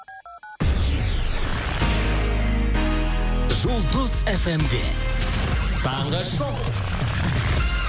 жұлдыз фм де таңғы шоу